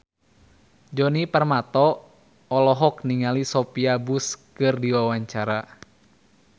Djoni Permato olohok ningali Sophia Bush keur diwawancara